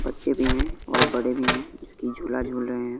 बच्चे भी हैं और बड़े भी हैं जोकी झूला झूल रहे हैं।